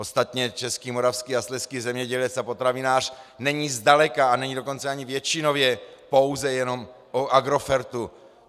Ostatně český, moravský a slezský zemědělec a potravinář není zdaleka, a není dokonce ani většinově pouze jenom o Agrofertu.